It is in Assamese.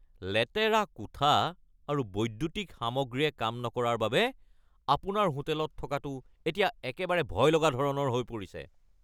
লেতেৰা কোঠা আৰু বৈদ্যুতিক সামগ্ৰীয়ে কাম নকৰাৰ বাবে আপোনাৰ হোটেলত থকাটো এতিয়া একেবাৰে ভয়লগা ধৰণৰ হৈ পৰিছে।